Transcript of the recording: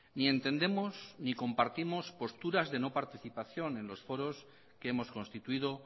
ni entendemos ni compartimos posturas de no participación en los foros que hemos constituido